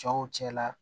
Cɛw cɛla